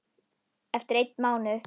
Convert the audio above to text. Eftir einn mánuð?